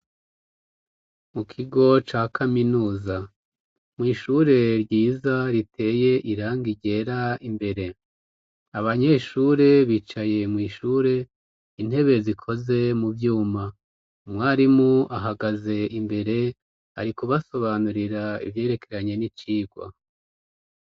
Mu kigo ca kaminuza mw'ishure ryiza riteye irangi ryera imbere. Abanyeshure bicaye mw'ishure intebe zikoze mu vyuma, umwarimu ahagaze imbere ari kubasobanurira ivyerekeranye n'icigwa.